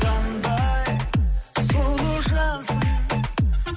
қандай сұлу жансың